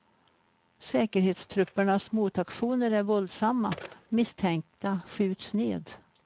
Säkerhetstruppernas motaktioner är våldsamma, misstänkta skjuts ned.